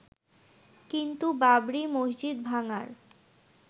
কিন্তু বাবরি মসজিদ ভাঙার